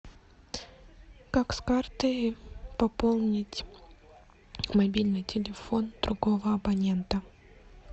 как с карты пополнить мобильный телефон другого абонента